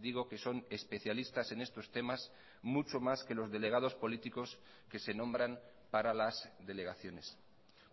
digo que son especialistas en estos temas mucho más que los delegados políticos que se nombran para las delegaciones